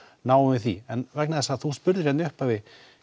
náum við því en vegna þess að þú spurðir hérna í upphafi